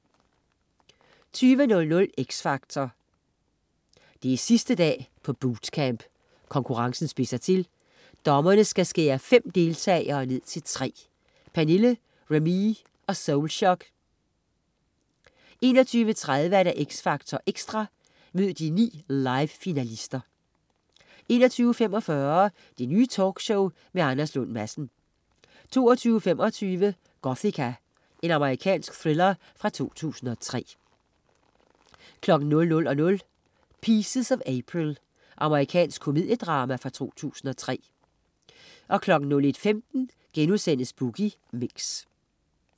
20.00 X Factor. 20.00 X Factor. Det er sidste dag på bootcamp. Konkurrencen spidser til. Dommerne skal skære fem deltagere ned til tre. Pernille, Remee og Soulshock. Pernille, Remee og Soulshock 21.30 X Factor Ekstra. Mød de ni live-finalister. 21.45 Det Nye Talkshow med Anders Lund Madsen 22.25 Gothika. Amerikansk thriller fra 2003 00.00 Pieces of April. Amerikansk komediedrama fra 2003 01.15 Boogie Mix*